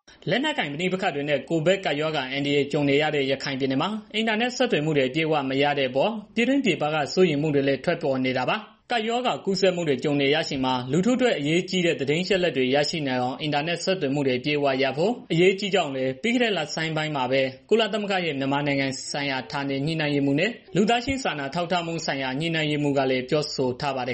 " လက်နက်ကိုင် ပဋိပက္ခတွေနဲ့ ကိုဗစ်ကပ်ရောဂါ အန္တရာယ်ကြုံနေရတဲ့ ရခိုင်ပြည်နယ်မှာ အင်တာနက် ဆက်သွယ်မှုတွေ အပြည့်အ၀ မရတဲ့အပေါ် ပြည်တွင်းပြည်ပက စိုးရိမ်မှုတွေလည်း ထွက်ပေါ်နေတာပါ။ ကပ်ရောဂါကူးစက်မှုတွေ ကြုံနေရချိန်မှာ လူထုအတွက် အရေးကြီးတဲ့ သတင်းအချက်အလက်တွေ ရရှိနိုင်အောင် အင်တာနက်ဆက်သွယ်မှုတွေ အပြည့်အဝရဖို့ အရေးကြီးကြောင်းလည်း ပြီးခဲ့တဲ့ လဆန်းမှာပဲ ကုလသမဂ္ဂရဲ့ မြန်မာနိုင်ငံဆိုင်ရာ ဌာနေညှိနှိုင်းရေးမှူးနဲ့ လူသားချင်းစာနာထောက်ထားမှုဆိုင်ရာ ညှိနှိုင်းရေးမှူးကလည်း ပြောဆိုထားပါတယ်